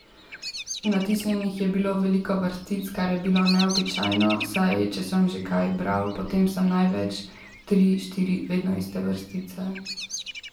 Natisnjenih je bilo veliko vrstic, kar je bilo neobičajno, saj če sem že kaj bral, potem sem največ tri, štiri vedno iste vrstice.